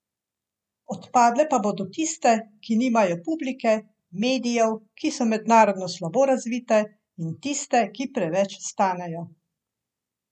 Odpadle pa bodo tiste, ki nimajo publike, medijev, ki so mednarodno slabo razvite, in tiste, ki preveč stanejo.